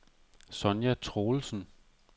Sonja Troelsen